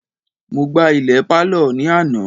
Mo gbá ilẹ̀ pálọ̀ ní àná